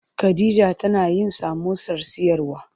Khadija tana yin samosar siyarwa.